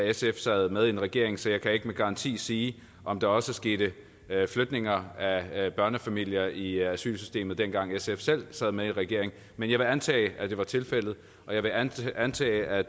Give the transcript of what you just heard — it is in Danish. sf sad med i en regering så jeg kan ikke med garanti sige om der også skete flytninger af børnefamilier i asylsystemet dengang sf selv sad med i regering men jeg vil antage at det var tilfældet og jeg vil antage antage at